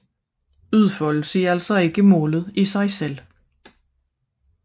Udfoldelse er altså ikke målet i sig selv